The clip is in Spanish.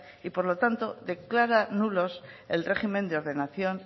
y por lo tanto declara nulos el régimen de ordenación